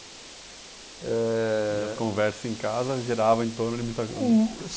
Eh, e as conversas em casa girava em torno de muita coisa. Uh!